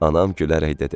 Anam gülərək dedi: